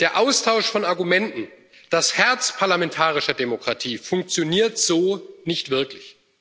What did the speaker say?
Der Austausch von Argumenten, das Herz parlamentarischer Demokratie funktioniert so nicht wirklich.